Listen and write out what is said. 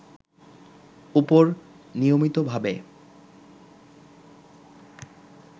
উপর নিয়মিতভাবে